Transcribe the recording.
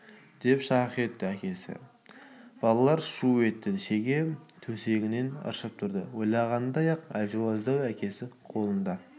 деп шақ-шақ етті әкесі балалар шу етті шеге төсегінен ыршып тұрды ойлағандай-ақ әлжуаздау әкесі қолында